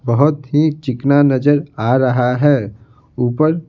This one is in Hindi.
बहुत ही चिकना नजर आ रहा है ऊपर--